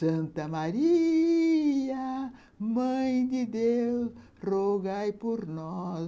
Santa Maria, Mãe de Deus, rogai por nós.